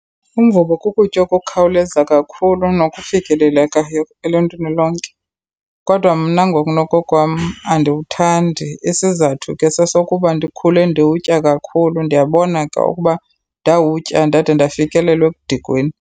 Umvubo kukutya okukhawuleza kakhulu nokufikelelekayo eluntwini lonke, kodwa mna ngokunokokwam andiwuthandi. Isizathu ke sesokuba ndikhule ndiwutya kakhulu. Ndiyabona ke ukuba ndawutya ndade ndafikelelwa ekudikweni.